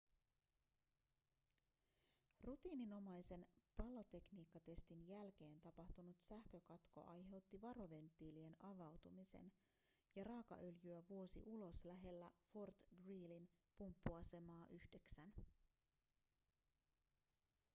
rutiininomaisen palotekniikkatestin jälkeen tapahtunut sähkökatko aiheutti varoventtiilien avautumisen ja raakaöljyä vuosi ulos lähellä fort greelyn pumppuasemaa 9